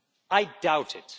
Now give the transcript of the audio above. I doubt it.